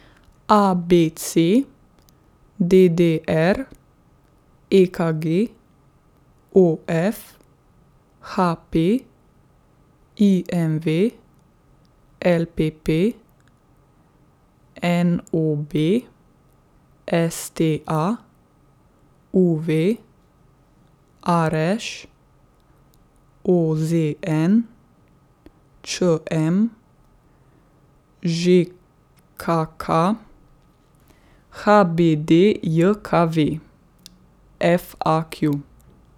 A B C; D D R; E K G; O F; H P; I M V; L P P; N O B; S T A; U V; R Š; O Z N; Č M; Ž K K; H B D J K V; F A Q.